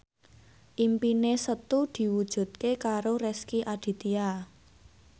impine Setu diwujudke karo Rezky Aditya